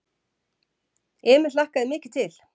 Emil hlakkaði mikið til.